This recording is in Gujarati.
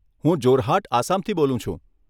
હું જોરહાટ, આસામથી બોલું છું.